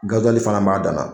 Gazuwali fana b'a dan na.